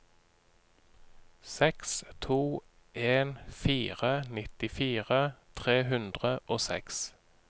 seks to en fire nittifire tre hundre og seks